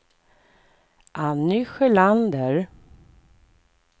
Anny Sjölander